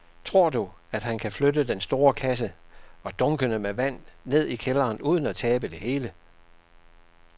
Tror du, at han kan flytte den store kasse og dunkene med vand ned i kælderen uden at tabe det hele?